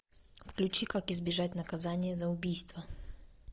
включи как избежать наказания за убийство